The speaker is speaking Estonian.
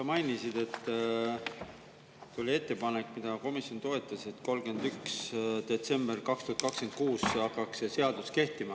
Sa mainisid, et tuli ettepanek, mida komisjon toetas, et 31. detsember 2026 hakkaks see seadus kehtima.